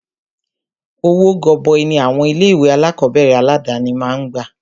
Owó gọbọi ní àwọn ilé ìwé alákọ̀berẹ̀ aládàni máà ń gbà.